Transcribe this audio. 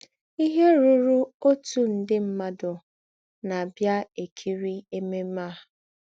Ìhè rūrú̀ ǒtù ndè mmádụ na - àbịa èkìrí èmèmè à.